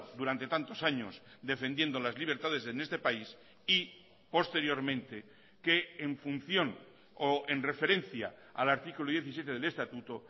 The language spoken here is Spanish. durante tantos años defendiendo las libertades en este país y posteriormente que en función o en referencia al artículo diecisiete del estatuto